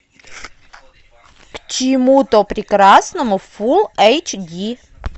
к чему то прекрасному фул эйч ди